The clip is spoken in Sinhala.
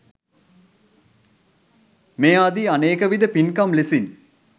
මේ ආදි අනේකවිධ පින්කම් ලෙසින්